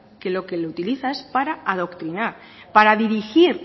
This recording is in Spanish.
que para lo que lo utiliza es para adoctrinar para dirigir